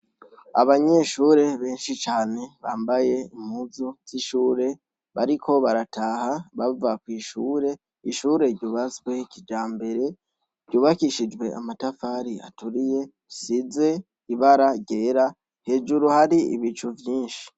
Abanyeshure benshi cane bambaye muzu z'ishure bariko barataha bava kw'ishure ishure ryubasweho ikija mbere ryubakishijwe amatafari aturiye size ibara ryera hejuru hari ibicu vyinshi.